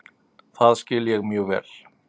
Það skil ég mjög vel.